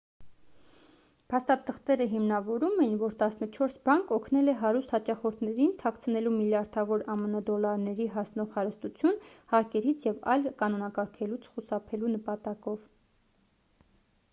փաստաթղթերը հիմնավորում էին որ տասնչորս բանկ օգնել է հարուստ հաճախորդներին թաքցնելու միլիարդավոր ամն դոլարների հասնող հարստություն հարկերից և այլ կանոնակարգերից խուսափելու նպատակով